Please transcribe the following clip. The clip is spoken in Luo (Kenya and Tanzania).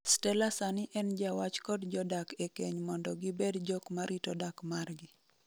Stella sani en jawach kod jodak e keny mondo gibed jokma rito dak margi.